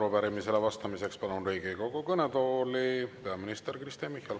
Arupärimisele vastamiseks palun Riigikogu kõnetooli peaminister Kristen Michali.